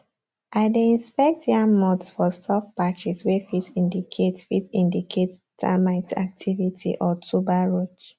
i dey inspect yam mounds for soft patches wey fit indicate fit indicate termite activity or tuber rot